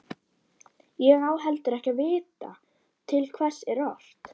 Ég á heldur ekki að vita til hvers er ort.